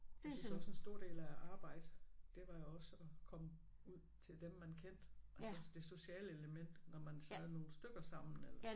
Jeg synes også en stor del af at arbejde det var også at komme ud til dem man kendte altså det sociale element når man sad nogle stykker sammen eller